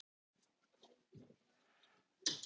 Marín, hver syngur þetta lag?